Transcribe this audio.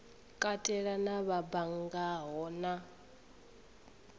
katela na vha banngaho na